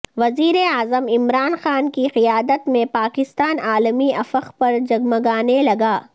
وزیراعظم عمران خان کی قیادت میں پاکستان عالمی افق پر جگمگانے لگا